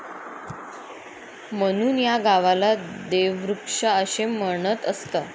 म्हणून या गावाला देवृक्षा असे म्हणत असत.